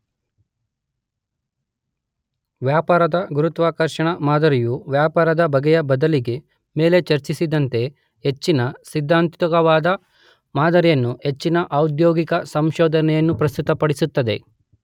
ವ್ಯಾಪಾರದ ಗುರುತ್ವಾಕರ್ಷಣಾ ಮಾದರಿಯು ವ್ಯಾಪಾರದ ಬಗೆಯ ಬದಲಿಗೆ ಮೇಲೆ ಚರ್ಚಿಸಿದಂತೆ ಹೆಚ್ಚಿನ ಸಿದ್ಧಾಂತಿಕವಾದ ಮಾದರಿಯನ್ನು ಹೆಚ್ಚಿನ ಔದ್ಯೋಗಿಕ ಸಂಶೋಧನೆಯನ್ನು ಪ್ರಸ್ತುತಪಡಿಸುತ್ತದೆ.